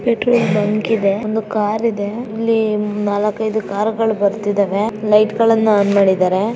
Petrol bunk ಇದೆ ಒಂದು car ಇದೆ. ಅಲ್ಲಿ ನಾಲ್ಕ್ ಐದು ಕಾರ್ ಗಳು ಬರ್ತಿದವೇ ಲೈಟ್ಗಳನ್ನ ಆನ್ ಮಾಡಿದಾರೆ .